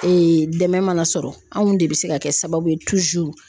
Ee dɛmɛ mana sɔrɔ anw de bɛ se ka kɛ sababu ye